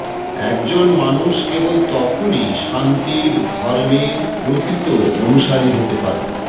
একজন মানুষ কেবল তখনই শান্তির ধর্মের প্রকৃত অনুসারী হতে পারে